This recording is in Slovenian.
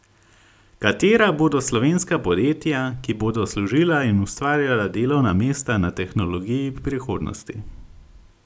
Katera bodo slovenska podjetja, ki bodo služila in ustvarjala delovna mesta na tehnologiji prihodnosti?